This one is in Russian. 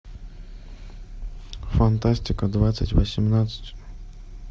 фантастика двадцать восемнадцать